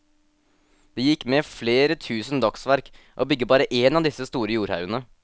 Det gikk med flere tusen dagsverk å bygge bare en av disse store jordhaugene.